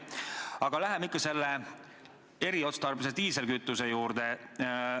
Aga läheme tagasi eriotstarbelise diislikütuse juurde.